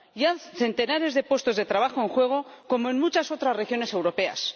Y hay centenares de puestos de trabajo en juego, como en muchas otras regiones europeas.